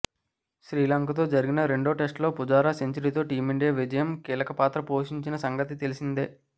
శ్రీలంకతో జరిగిన రెండో టెస్టులో పుజారా సెంచరీతో టీమిండియా విజయంలో కీలకపాత్ర పోషించిన సంగతి తెలిసిందే